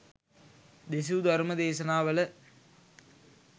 දෙසූ ධර්ම දේශනාවල